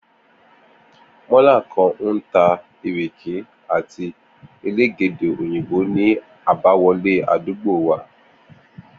Mó̩là kan ń ta ìrèké àti elégédé òyìnbo ní àbáwo̩lé àdúgbò wa